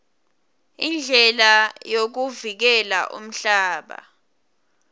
indlela yokuvikela umhlaba